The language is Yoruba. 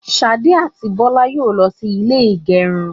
Ṣadé àti Bọlá yóò lọ sí ilé ìgẹrun.